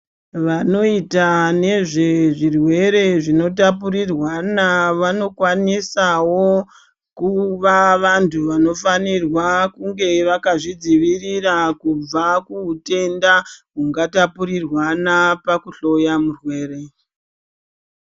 Vanoita nezvezvirwere zvinotapurirana vanokwanisawo kuva vantu vanofanirwa kunga vakazvidzivirira kubva kudenda ungatapurirwana pakuhloya murwere.